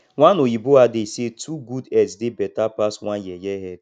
one oyibo adage say two good heads dey better pass one yeye head